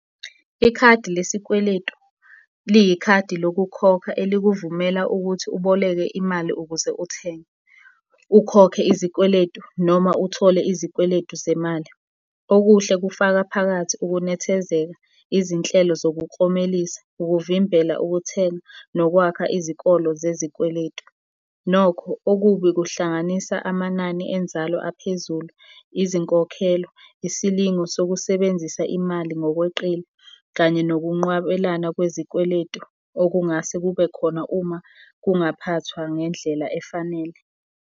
Ikhadi lesikweletu, liyikhadi lokukhokha elikuvumela ukuthi uboleke imali ukuze uthenge, ukhokhe izikweletu, noma uthole izikweletu zemali. Okuhle kufaka phakathi ukunethezeka, izinhlelo zokuklomelisa, ukuvimbela ukuthenga, nokwakha izikolo zezikweletu. Nokho okubi kuhlanganisa amanani enzalo aphezulu, izinkokhelo, isilingo sokusebenzisa imali ngokweqile kanye nokunqwabelana kwezikweletu okungase kube khona uma kungaphathwa ngendlela efanele.